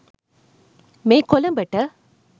මේ කොළඹට